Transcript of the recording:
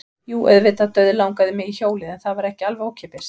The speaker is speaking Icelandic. Jú, auðvitað dauðlangaði mig í hjólið en það var ekki alveg ókeypis.